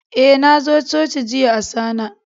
Eh, na zo coci jiya Asana.